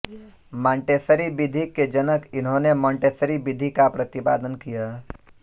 Montessori विधि के जनक इन्होंने मोंटेसरी विधि का प्रतिपादन किया